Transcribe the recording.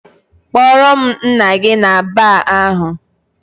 Kpọrọ m nna gị na baar ahụ!